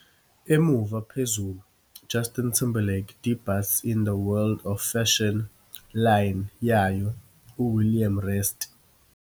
Emuva phezulu - "Justin Timberlake debuts in the world of fashion line yayo 'uWilliam Rast' '.